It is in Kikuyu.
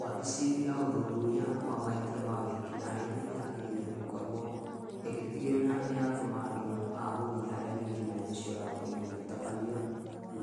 Wabici ya ũthuthuria wa mahĩtia ma wĩkinaĩ, yagĩrĩire nĩ gũkorwo ĩgĩtigĩrĩra nĩyatũma andũ agũthiĩ harĩa wĩkinaĩ ũcio ũrakorirwo ũgĩtabanio,